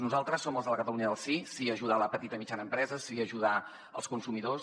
nosaltres som els de la catalunya del sí sí a ajudar la petita i mitjana empresa sí a ajudar els consumidors